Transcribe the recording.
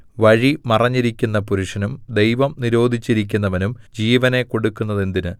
വഴി മറഞ്ഞിരിക്കുന്ന പുരുഷനും ദൈവം നിരോധിച്ചിരിക്കുന്നവനും ജീവനെ കൊടുക്കുന്നതെന്തിന്